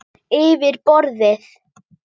Yfir borðið.